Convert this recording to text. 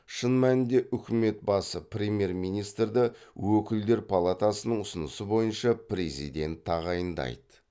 шын мәнінде үкімет басы премьер министрді өкілдер палатасының ұсынысы бойынша президент тағайындайды